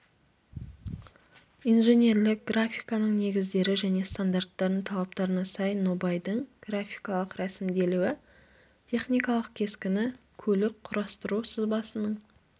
инженерлік графиканың негіздері және стандарттардың талаптарына сәйкес нобайдың графикалық рәсімделуі техникалық кескіні көлік құрастыру сызбасының